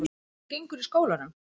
Hvernig gengur í skólanum?